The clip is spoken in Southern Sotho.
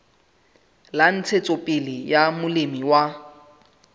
la ntshetsopele ya molemi wa